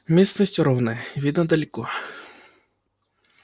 местность ровная видно далеко